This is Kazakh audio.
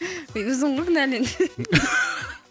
өзің ғой кінәлі енді